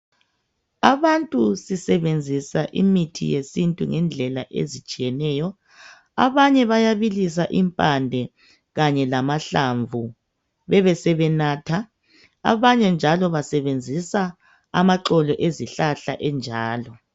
abantu sisebenzisa imithi yesintu ngendlela ezitshiyeneyo abanye bayabilisa impande kanye lamahlamvu bebesebenatha abanye njalo basebenzisa amaxolo ezihlahla enjalo